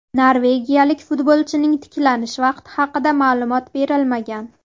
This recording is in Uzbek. Norvegiyalik futbolchining tiklanish vaqti haqida ma’lumot berilmagan.